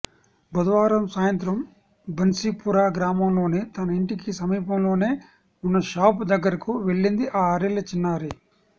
బుధవారం సాయంత్రం బన్సీపురా గ్రామంలోని తన ఇంటికి సమీపంలోనే ఉన్న షాపు దగ్గరకు వెళ్లింది ఆరేళ్ల చిన్నారి